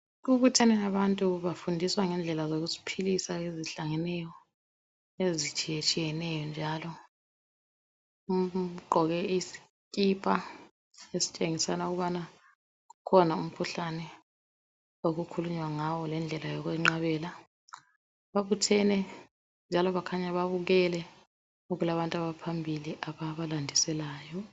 kubuthene abantu bafundiswa ngendlela zokuziphilisa ezihlangeneyo ezitshiyetshiyeneyo njalo ugqoke isikipa esitshengisela ukubana kukhona umkhuhlane okukhulunywa ngawo lendlela yokwenqabela babuthene njalo kukhanya babukele kulabantu abaphmbili ababalandiselayo